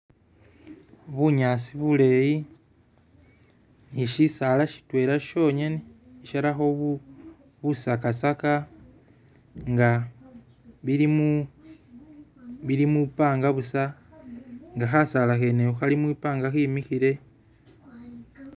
Bunyaasi buleyi nishisaala shitwela shongene i'sharakho bu busakasaka nga bilimu bilimu banga busa nga khasaala khenekho khali mwibanga khimikhile